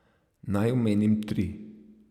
Naj omenim tri.